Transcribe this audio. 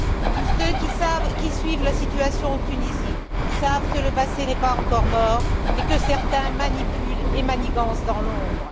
Tous ceux qui suivent la situation en Tunisie savent que le passé n'est pas encore mort et que certains manipulent et manigancent dans l'ombre.